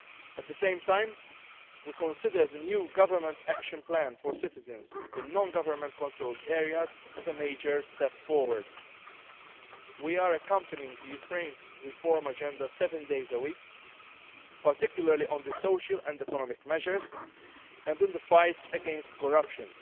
for them. At the same time we consider the new government action plan for citizens in non government controlled areas as a major step forward. We are accompanying Ukraine's reform agenda seven days a week, particularly on the social and economic measures, and in the fight against